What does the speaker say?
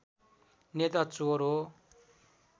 नेता चोर हो